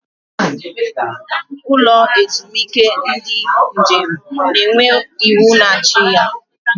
Ụlọ ezumike ndị njem na-enwe iwu na-achị ya.